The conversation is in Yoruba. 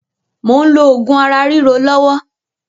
Mò ń lò oògùn ara ríro lọ́wọ́